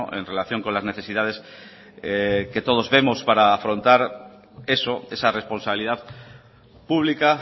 en relación con las necesidades que todos vemos para afrontar eso esa responsabilidad pública